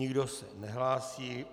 Nikdo se nehlásí.